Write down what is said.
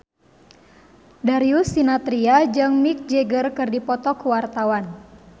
Darius Sinathrya jeung Mick Jagger keur dipoto ku wartawan